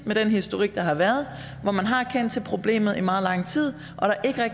med den historik der har været hvor man har kendt til problemet i meget lang tid